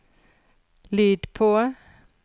lyd på